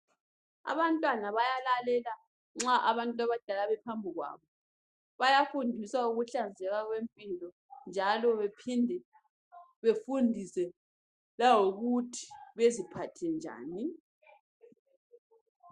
Abantwana bayalalela nxa Abantwana bephambikwabo, bayafundiswa ngokuhlanzeka kwempilo ,njalo bephinde befundise langokuthi baziphathe njani.